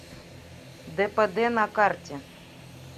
дпд на карте